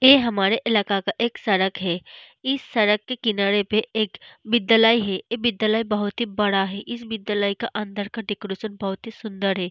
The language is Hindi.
ये हमारा इलाका के एक सड़क है इस सड़क के किनारे पे एक विद्यालय है विद्यालय बहुत ही बड़ा है इस विद्यालय का अंदर का डेकोरेशन बहुत ही सूंदर है।